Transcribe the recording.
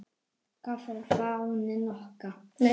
Hvað þá fáninn okkar.